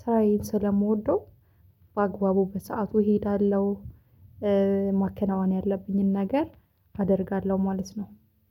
ስራዬን ስለምወደው በአግባቡ በሰአቱ እሄዳለሁ። ማከናወን ያለብኝን ነገር አደርጋለሁ ማለት ነው